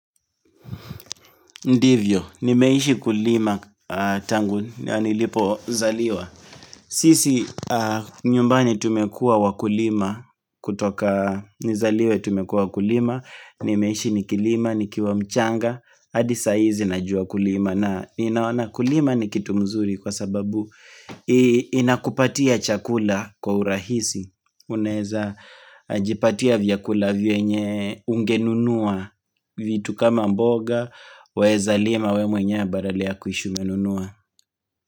Ndivyo, nimeishi kulima tangu, nilipo zaliwa sisi nyumbani tumekuwa wakulima kutoka nizaliwe tumekuwa wakulima Nimeishi nikilima, nikiwa mchanga, hadi saa hizi najua kulima na ninaona Kulima ni kitu mzuri kwa sababu inakupatia chakula kwa urahisi Unaeza jipatia vyakula vyenye ungenunua vitu kama mboga Waeza lima wewe mwenyewe badala kuishi umenunua.